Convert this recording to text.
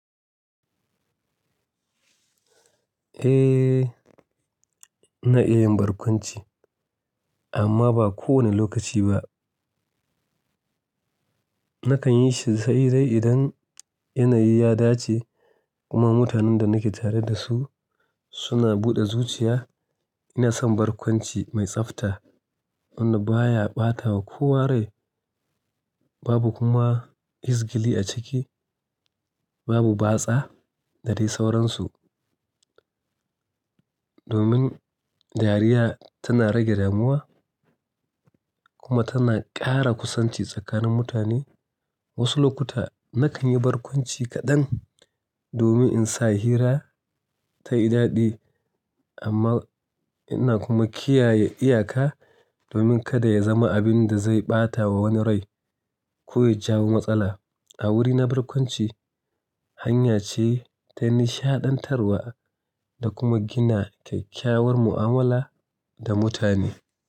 Eh, ina iya yin barkwanci, amma ba kowane lokaci ba. Nakan yi shi sai dai idan yanayi ya dace kuma mutanen da nake tare da su suna buɗe zuciya. Ina son barkwanci mai tsafta wanda baya ɓatawa kowa rai, babu kuma izgili a ciki, babu batsa da dai sauransu. Domin dariya tana rage damuwa kuma tana ƙara kusanci tsakanin mutane. Wasu lokuta nakan yi barkwanci kaɗan domin in sa hira ta yi daɗi amma ina kuma kiyaye iyaka domin kada ya zama abin da zai ɓata wa wani rai ko ya jawo matsala. A wuri na, barkwanci hanya ce ta nishaɗantarwa da kuma gina kyakkyawar mu'amala da mutane.